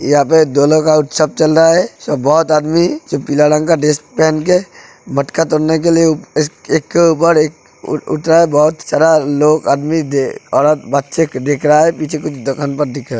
यहां पे दोनों का उत्सव चल रहा है। सब बहोत आदमी जो पीला रंग का ड्रेस पहन के मटका तोड़ने के लिए एक के इस एक के ऊपर एक उठ उठ रहा है। बहोत सारा लोग आदमी औरत बच्चे देख रहा है। पीछे कुछ दुकान बंद दिख रहा है।